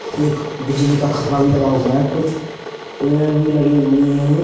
एक बिजली का खम्बा भी लगा हुआ है कुछ पेड़ भी लगे हुए हैं।